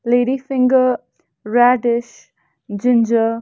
ladies finger radish ginger.